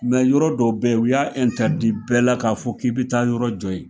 yɔrɔ dɔ bɛ u y'a bɛɛ la k'a fɔ k'i bi taa yɔrɔ jɔ ye.